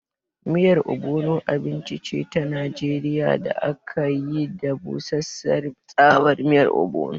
Miyar Ogbono abinci ce ta Najeriya da aka yi da busasshiyar tsabar ogbono.